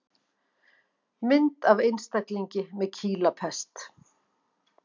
Mynd af einstaklingi með kýlapest.